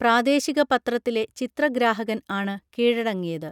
പ്രാദേശിക പത്രത്തിലെ ചിത്രഗ്രാഹകൻ ആണ് കീഴടങ്ങിയത്